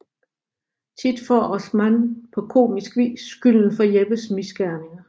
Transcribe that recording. Tit får Osman på komisk vis skylden for Jeppes misgerninger